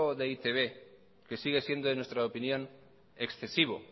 de eitb que sigue siendo en nuestra opinión excesivo